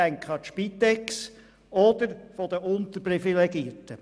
Ich denke an die Spitex oder die Unterprivilegierten.